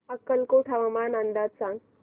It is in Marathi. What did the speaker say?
अक्कलकोट हवामान अंदाज सांग